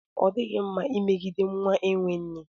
Ọ dịghị mma imegide nwa enwe nne.